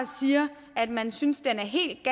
siger at man synes den er helt